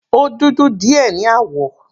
Ó dudu díẹ̀ ní àwọ̀.